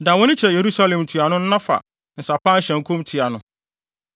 Dan wʼani kyerɛ Yerusalem ntuano no na fa nsa pan hyɛ nkɔm tia no.